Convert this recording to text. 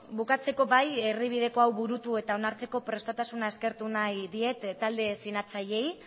bukatzeko bai erdibideko hau burutu eta onartzeko prestutasuna eskertu nahi diet talde sinatzaileei